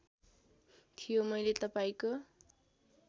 थियो मैले तपाईँको